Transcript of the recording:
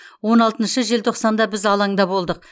он алтыншы желтоқсанда біз алаңда болдық